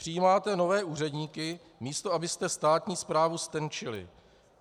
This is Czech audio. Přijímáte nové úředníky, místo abyste státní správu ztenčili.